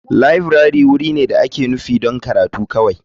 Laburare wuri ne da ake nufi don karatu kawai.